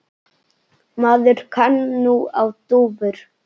Maður kann nú á dúfur!